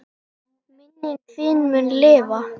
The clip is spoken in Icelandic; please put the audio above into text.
Minning þín mun lifa.